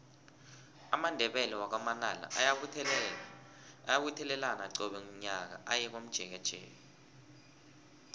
amandebele wakwa manala ayabuthelana qobe nyaka aye komjekejeke